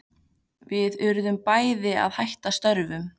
Við urðum bæði að hætta störfum.